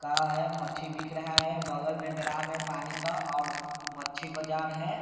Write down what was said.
है मच्छी बिक रहा है बगल में ड्राम है पानी का और मच्छी बाजार है।